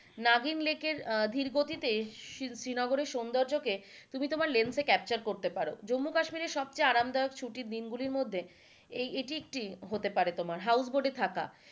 নাগিন লেকের ধীর গতিতে শ্রী~ শ্রীনগরের সৌন্দযকে তুমি তোমার লেন্সে capture করতে পারো জম্মু কাশ্মীরের সবচেয়ে আরামদায়ক ছুটির দিনগুলির মধ্যে এটি একটি হতে পারে তোমার house boat এ থাকা,